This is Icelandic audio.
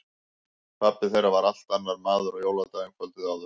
Pabbi þeirra var allt annar maður á jóladag en kvöldið áður.